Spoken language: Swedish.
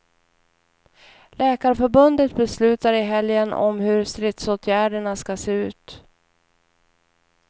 Läkarförbundet beslutar i helgen om hur stridsåtgärderna skall se ut.